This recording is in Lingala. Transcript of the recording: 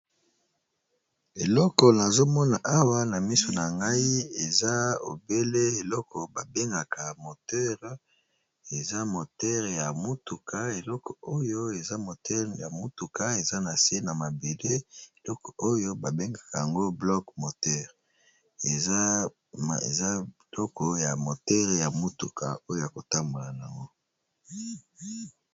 Eloko nazo mona awa na miso na ngai eza obele eloko ba bengaka moteure eza moteure ya motuka eloko oyo eza motere ya motuka eza na se na mabele eloko oyo ba bengaka yango block moter eza kitoko ya moteure ya motuka oyo yako tambola nango.